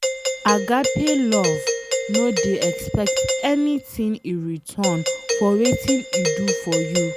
Agape love no dey expect anything in return for wetin e do for you